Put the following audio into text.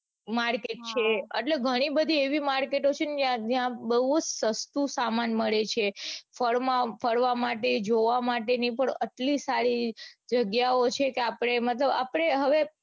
market છે એટલે ઘણી બધી એવી market છે ને ત્યાં બૌ બઉ જ સસ્તો સમાન મળે છે ફરવા માટે જોવા માટે ને પણ એટલી સારી જગ્યાઓ છે કે આપડે મતલબ આપડે હવે